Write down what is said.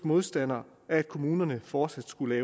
modstander af at kommunerne fortsat skulle